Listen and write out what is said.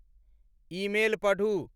Email पढ़ू।